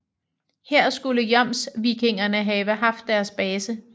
Her skulle jomsvikingerne have haft deres base